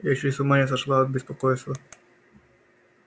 я чуть с ума не сошла от беспокойства